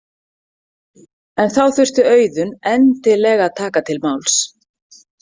En þá þurfti Auðunn endilega að taka til máls.